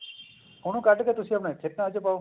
ਉਹਨੂੰ ਕੱਡ ਕੇ ਤੁਸੀਂ ਆਪਣਾ ਇੱਥੇ plant ਚ ਪਾਓ